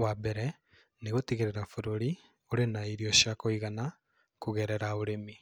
Wa mbere, nĩ gũtigĩrĩra bũrũri ũrĩ na irio cia kũigana kũgerera ũrĩmi,